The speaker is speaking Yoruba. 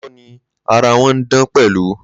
Lóòótọ́ ni, ara wọn ń dán pẹ̀lú.